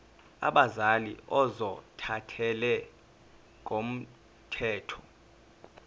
abazali ozothathele ngokomthetho